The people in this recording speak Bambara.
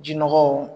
Ji nɔgɔw